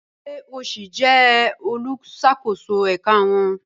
Ṣe o si jẹ oluṣakoso ẹka wọn?